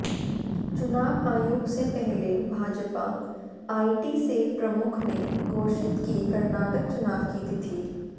चुनाव आयोग से पहले भाजपा आईटी सेल प्रमुख ने घोषित की कर्नाटक चुनाव की तिथि